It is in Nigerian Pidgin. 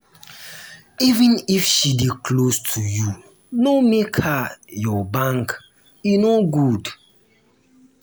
small help dey sweet na too much help dey spoil tins.